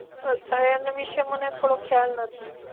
અચ્છા! એમને વિશે મને થોડોક ખ્યાલ નથી.